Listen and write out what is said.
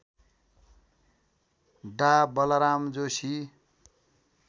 डा बलराम जोशी